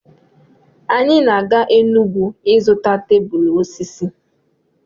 Anyị na-aga Enugwu ịzụta tebụl osisi.